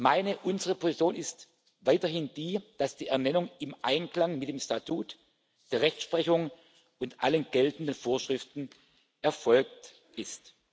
Meine und unsere Position ist weiterhin die, dass die Ernennung im Einklang mit dem Statut, der Rechtsprechung und allen geltenden Vorschriften erfolgt